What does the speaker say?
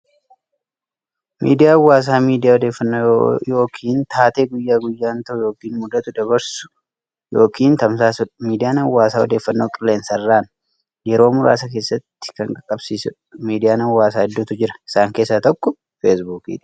Miidiyaa hawaasaa miidiyaa odeeffannoo yookiin taatee guyyaa guyyaan ta'u yookiin mudatu daddabarsu yookiin tamsaasudha. Miidiyaan hawaasaa odeeffannoo qilleensarraan yeroo muraasa keessatti kan qaqqabsiisudha. Miidiyaan hawaasaa hedduutu jira. Isaan keessaa tokko Facebook dha.